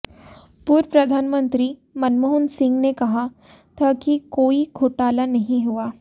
पूर्व प्रधानमंत्री मनमोहन सिंह ने कहा था कि कोई घोटाला नहीं हुआ